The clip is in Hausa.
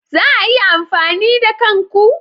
Za a iya amfani da kan ku?